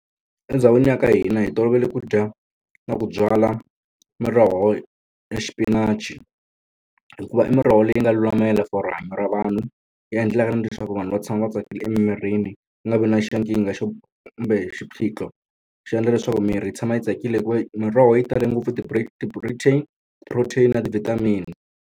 Endhawini ya ka hina hi tolovele ku dya na ku byala miroho ya xipinachi, hikuva i miroho leyi nga lulamela for rihanyo ra vanhu, yi endlaka na leswaku vanhu va tshama va tsakile emimirini. Ku nga vi na xa nkingha xo kumbe xiphiqo. Xi endla leswaku miri yi tshama yi tsakile hikuva yi miroho yi tale ngopfu ti-protein protein na ti-vitamin-i.